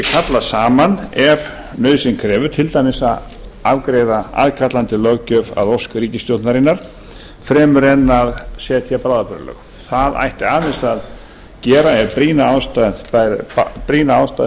kallað saman ef nauðsyn krefur til dæmis að afgreiða aðkallandi löggjöf að ósk ríkisstjórnarinnar fremur en að setja bráðabirgðalög það ætti fremur að gera ef brýna ástæðu